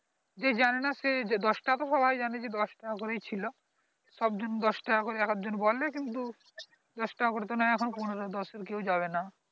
যে জানেনা সে দশ টাকা তো সবাই জানে যে দশ টাকা করে ই ছিলো সব জন দশ টাকা করে এক আধ জন বলে কিন্তু দশ টাকা করে তো নেই এখন পনেরো দশ এর কাও যাবে না